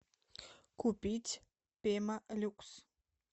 купить пемолюкс